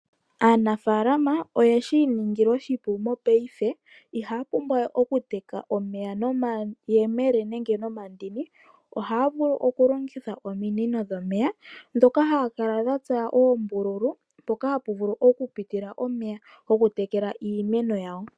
Aanafalama oye shiningila oshipu mopayife ihapumbwawe okuteka omeya nomayemele nenge nomandini ohavulu oku longitha ominino dhomeya dhoka hakala dhatsa oombululu poka hapuvulu oku pitila omeya gokutekela iimeno yawo.